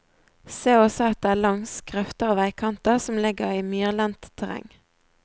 Se også etter langs grøfter og veikanter som ligger i myrlendt terreng.